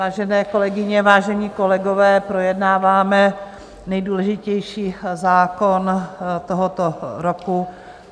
Vážené kolegyně, vážení kolegové, projednáváme nejdůležitější zákon tohoto roku.